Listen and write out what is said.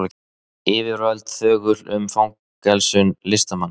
Yfirvöld þögul um fangelsun listamanns